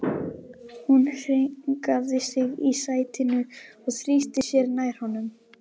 Hún hringaði sig í sætinu og þrýsti sér nær honum.